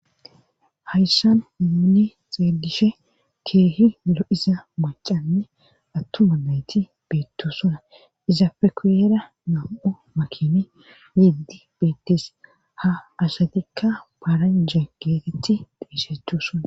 Hayssan muunni xeedishe keehi lo'iza macanne attuma nayti beettu sona iza pekuyeera nam'o makine yiddi beettes ha asatikka baaranja geetetti dheesheththu son.